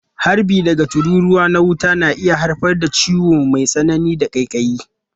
Harbi daga tururuwa na wuta na iya haifar da ciwo mai tsanani da ƙaiƙayi.